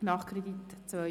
Nachkredit 2017».